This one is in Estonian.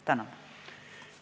Tänan!